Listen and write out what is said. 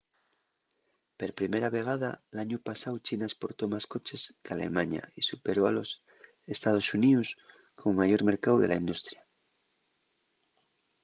per primera vegada l'añu pasáu china esportó más coches qu'alemaña y superó a los ee.xx como mayor mercáu de la industria